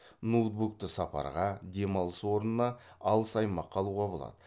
ноутбукты сапарға демалыс орнына алыс аймаққа алуға болады